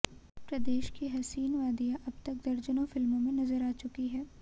प्रदेश की हसीन वादियां अब तक दर्जनों फिल्मों में नजर आ चुकी हैं